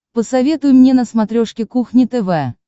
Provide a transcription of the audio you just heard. посоветуй мне на смотрешке кухня тв